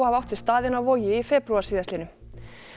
hafa átt sér stað inni á Vogi í febrúar síðastliðnum